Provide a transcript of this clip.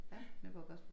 Ja Nyborg gospel